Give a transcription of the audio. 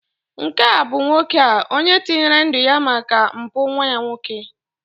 nke a bụ nwoke a, onye tinyere ndu ya maka mpụ nwa ya nwoke